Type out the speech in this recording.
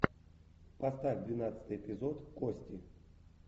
поставь двенадцатый эпизод кости